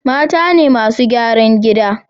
Mata ne masu gyaran gida